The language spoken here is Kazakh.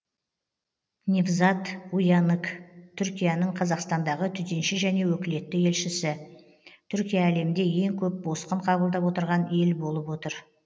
невзат уянык түркияның қазақстандағы төтенше және өкілетті елшісі түркия әлемде ең көп босқын қабылдап отырған ел болып отыр